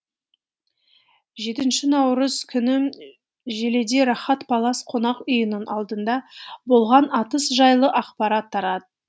жетінші наурыз күні желіде рахат палас қонақ үйінің алдында болған атыс жайлы ақпарат тарат